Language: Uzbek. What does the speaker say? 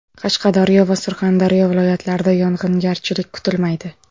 Qashqadaryo va Surxondaryo viloyatlarida yog‘ingarchilik kutilmaydi.